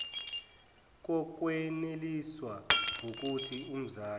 kokweneliswa wukuthi umzali